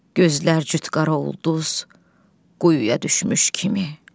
Gözlər cüt qara ulduz, quyuya düşmüş kimi.